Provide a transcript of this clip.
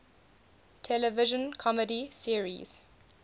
television comedy series